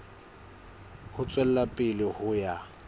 ho tswela pele ho ya